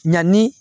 Ɲani